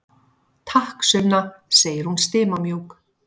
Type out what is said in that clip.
Takk, Sunna, segir hún stimamjúk.